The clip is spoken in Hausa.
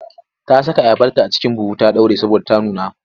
Ta saka ayabarta a cikin buhu ta ɗaure saboda ta nuna.